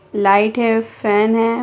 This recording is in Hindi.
लाइट है फेन है।